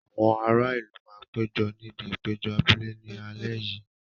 Àwọn ará ìlú máa péjọ níbi ìpéjọ abúlé ní alẹ́ yìí.